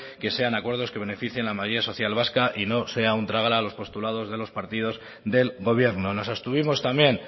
que sean acuerdos que beneficien a la mayoría social vasca y no sea un drágala a los postulados de los partidos del gobierno nos abstuvimos también